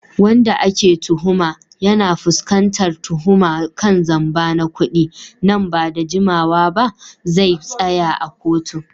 Wanda ake tuhuma, yana fuskantar tuhuma kan zamba na kudi, nan ba da jimawa ba zai tsaya a kotun